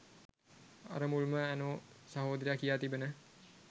අර මුල්ම ඇනෝ සහෝදරයා කියා තිබෙන